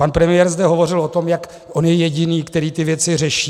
Pan premiér zde hovořil o tom, jak on je jediný, který ty věci řeší.